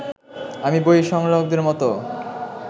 আমি বই সংগ্রাহকদের মতো